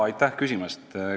Aitäh küsimast!